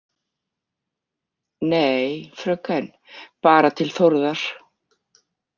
Nei, fröken, bara til Þórðar